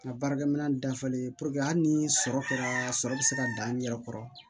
N ka baarakɛminɛn dafalen puruke hali ni sɔrɔ kɛra sɔrɔ bɛ se ka dan yɛrɛ kɔrɔ